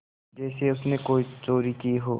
जैसे उसने कोई चोरी की हो